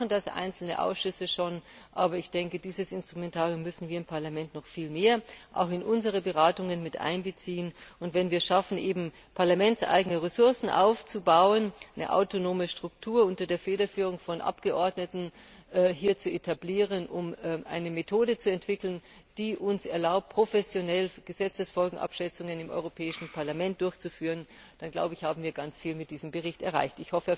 Bislang machen das einzelne Ausschüsse schon, aber ich denke, dieses Instrumentarium müssen wir im Parlament noch viel mehr auch in unsere Beratungen mit einbeziehen. Und wenn wir es schaffen, parlamentseigene Ressourcen aufzubauen und eine autonome Struktur unter der Federführung von Abgeordneten zu etablieren, um eine Methode zu entwickeln, die uns erlaubt, professionell Gesetzesfolgenabschätzungen im Europäischen Parlament durchzuführen, dann glaube ich, haben wir mit diesem Bericht sehr viel erreicht.